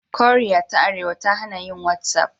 Koriya ta Arewa ta hana yin whatsapp.